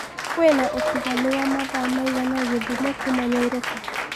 kwĩna utiganu wa mathaa maigana gĩthumo kũma nyairobi